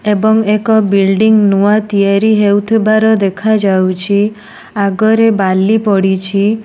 ଏବଂ ଏକ ବିଲଡିଂ ନୂଆ ତିଆରି ହେଉଥିବାର ଦେଖାଯାଉଛି। ଆଗରେ ବାଲି ପଡ଼ିଛି।